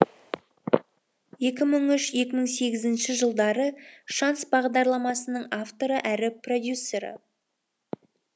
екі мың үш екі мың сегізінші жылдары шанс бағдарламасының авторы әрі продюсері